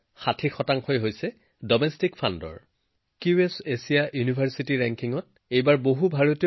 এইবাৰ ভাৰতৰ সৰ্বাধিক সংখ্যক বিশ্ববিদ্যালয়ৰ স্থান কিউএছ এছিয়া ইউনিভাৰ্ছিটী ৰেংকিংত